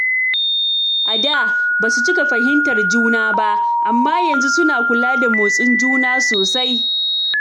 A da, basu cika fahimtar juna ba, amma yanzu suna kula da motsin juna sosai.